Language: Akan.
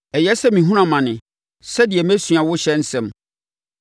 Ɛyɛ sɛ mehunuu amane sɛdeɛ mɛsua wo ɔhyɛ nsɛm.